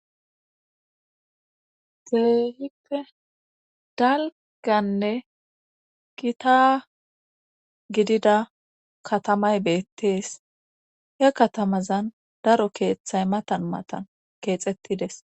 kelehippe dalganne kita gidida katamay beettees he katamazan daro keeththay matan matan keexettides